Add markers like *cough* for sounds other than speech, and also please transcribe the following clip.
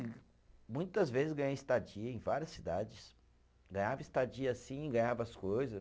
*unintelligible* muitas vezes ganhei estadia em várias cidades, ganhava estadia sim, ganhava as coisas.